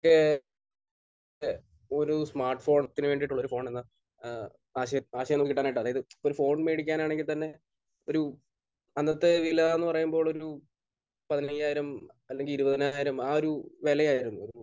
ഏഹ് എഹ് ഒരു സ്മാർട്ഫോണിന് വേണ്ടിയുള്ള ഒരു കിട്ടാനായിട്ട് അതായത് ഒരു ഫോൺ വാങ്ങിക്കാനാണെങ്കിൽ തന്നെ ഒരു അന്നത്തെ വിലയെന്ന് പറയുമ്പോൾ ഒരു പതിനയ്യായിരം അല്ലെങ്കിൽ ഇരുപതിനായിരം. ആ ഒരു വിലയായിരുന്നു ഒരു